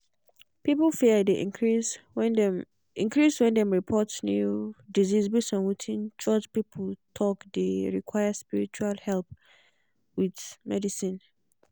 public fear dey increase when dem increase when dem report new disease base on wetin church people talke dey require spiritual help with medicine.